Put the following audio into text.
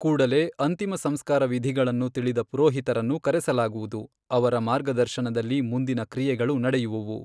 ಕೂಡಲೆ ಅಂತಿಮ ಸಂಸ್ಕಾರ ವಿಧೀಗಳನ್ನು ತಿಳಿದ ಪುರೋಹಿತರನ್ನು ಕರೆಸಲಾಗುವದು ಅವರ ಮಾರ್ಗದರ್ಶನದಲ್ಲಿ ಮುಂದಿನ ಕ್ರಿಯೆಗಳು ನಡೆಯುವುವು.